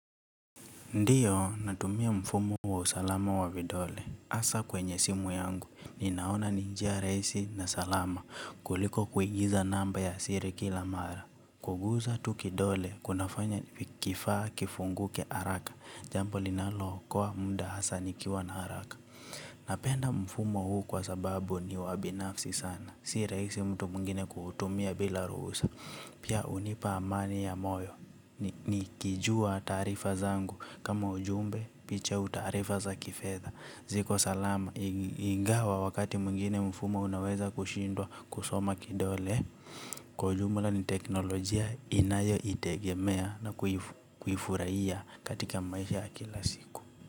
Ndiyo, natumia mfumo wa usalama wa vidole. hAsa kwenye simu yangu, ninaona ni njia rahisi na salama kuliko kuingiza namba ya siri kila mara. Kuguza tu kidole, kunafanya kifaa kifunguke haraka. Jambo linalo okoa muda hasa nikiwa na haraka. Napenda mfumo huu kwa sababu ni wa binafsi sana. Si rahisi mtu mwingine kutumia bila ruhusa. Pia unipa amani ya moyo nikijua taarifa zangu kama ujumbe picha utaarifa za kifedha. Ziko salama ingawa wakati mwingine mfumo unaweza kushindwa kusoma kidole. Kwa ujumla ni teknolojia inayo itegemea na kufurahia katika maisha ya kila siku.